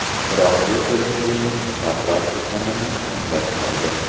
Biroq bu kelishuvning muqarrar ekanini anglatmaydi.